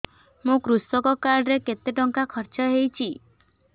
ମୋ କୃଷକ କାର୍ଡ ରେ କେତେ ଟଙ୍କା ଖର୍ଚ୍ଚ ହେଇଚି